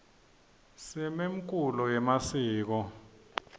simemkulo yemasiko